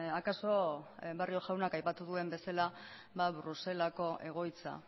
akaso barrio jaunak aipatu duen bezala bruselako egoitza